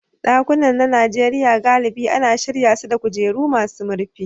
Ɗakunan na Najeriya galibi ana shirya su da kujeru masu rufi.